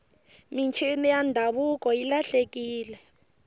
mincini ya ndhavuko yi lahlekile